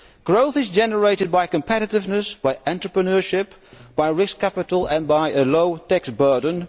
Growth is generated by competitiveness, by entrepreneurship, by risk capital and by a low tax burden.